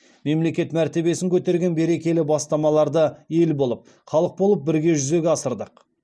мемлекет мәртебесін көтерген берекелі бастамаларды ел болып халық болып бірге жүзеге асырдық